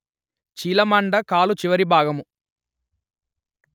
చీలమండ కాలు చివరి భాగము